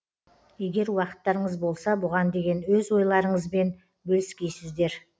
егер уақыттарыңыз болса бұған деген өз ойларыңызбен бөліскейсіздер